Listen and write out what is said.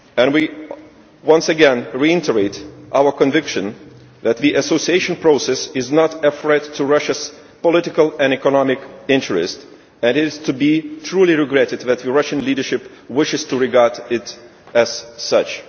We once again reiterate our conviction that the association process is not a threat to Russia's political and economic interest, and it is to be truly regretted that the Russian leadership wishes to regard it as such.